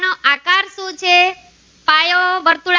વર્તુળ નો